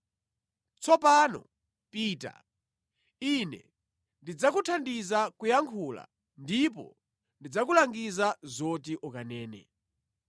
Tsopano pita, Ine ndidzakuthandiza kuyankhula ndipo ndidzakulangiza zoti ukanene.”